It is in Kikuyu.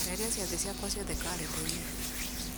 eheria ciathĩ ciakwa ciothe karenda-inĩ